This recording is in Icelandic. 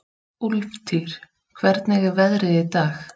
Úlftýr, hvernig er veðrið í dag?